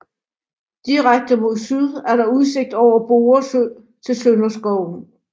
Direkte mod syd er der udsigt over Borre Sø til Sønderskoven